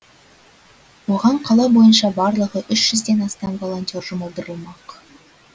оған қала бойынша барлығы үш жүзден астам волонтер жұмылдырылмақ